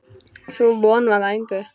Sú von varð að engu.